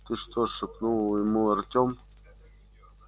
ты что шепнул ему артём